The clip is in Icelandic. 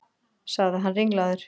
sagði hann ringlaður.